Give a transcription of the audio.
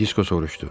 Disko soruşdu.